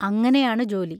അങ്ങനെയാണു ജോലി.